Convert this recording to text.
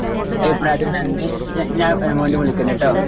ഈ പ്രായത്തിൽ തന്നെ ഞാൻ അങ്ങോട്ടു വിളിക്കുണുട്ടോ